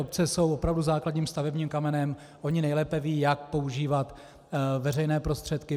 Obce jsou opravdu základním stavebním kamenem, ony nejlépe vědí, jak používat veřejné prostředky.